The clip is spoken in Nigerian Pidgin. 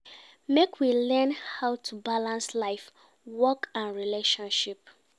Make we learn how to balance life, work and relationship